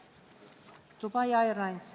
Dubai Airlines.